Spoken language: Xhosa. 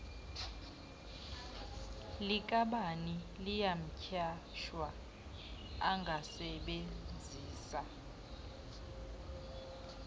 likabani liyanyhashwa angasebenzisa